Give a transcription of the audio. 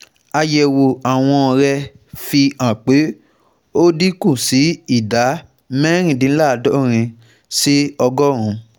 àyẹ̀wò àwọ̀n rẹ̀ fi hàn pé ó dín kù sí ìdá mẹ́rìndínláàádọ́rin sí ọgọ́rùn-ún